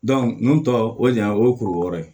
nunnu tɔ o ɲan o ye kuru wɛrɛ ye